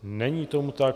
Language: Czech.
Není tomu tak.